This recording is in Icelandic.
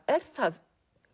er það